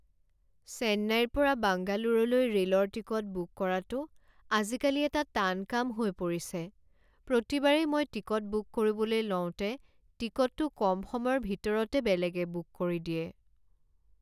চেন্নাইৰ পৰা বাংগালোৰলৈ ৰে'লৰ টিকট বুক কৰাটো আজিকালি এটা টান কাম হৈ পৰিছে। প্ৰতিবাৰেই মই টিকট বুক কৰিবলৈ লওঁতে টিকটটো কম সময়ৰ ভিতৰতে বেলেগে বুক কৰি দিয়ে।